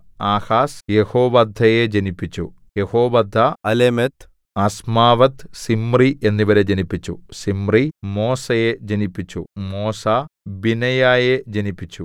Ahaz യെഹോവദ്ദയെ ജനിപ്പിച്ചു Jehoaddah Alemeth Azmaveth Zimri എന്നിവരെ ജനിപ്പിച്ചു സിമ്രി മോസയെ ജനിപ്പിച്ചു മോസാ ബിനയയെ ജനിപ്പിച്ചു